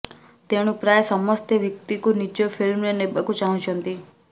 ତେଣୁ ପ୍ରାୟ ସମସ୍ତେ ଭିକ୍କିଙ୍କୁ ନିଜ ଫିଲ୍ମରେ ନେବାକୁ ଚାହୁଁଛନ୍ତି